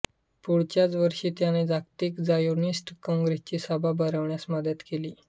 पुढच्याच वर्षी त्याने जागतिक झायोनिस्ट काँग्रेसची सभा भरवण्यास मदत केली